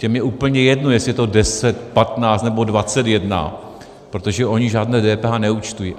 Těm je úplně jedno, jestli je to 10, 15 nebo 21, protože oni žádné DPH neúčtují.